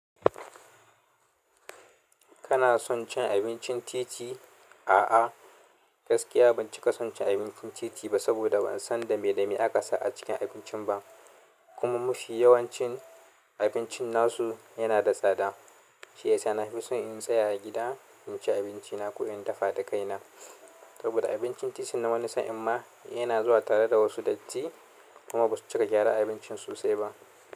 Kana son cin abincin titi? A'a, gaskiya ban cika son cin abincin titi ba saboda ban san da me da me aka sa a cikin abincin ba. Kuma mufi yawancin abincin nasu yana da tsada. Shi yasa na fi so in tsaya a gida in ci abinci na ko in dafa da kaina. Saboda abincin titi na wani sa in ma yana zuwa tare da wasu datti kuma basu cika gyara abincin sosai ba.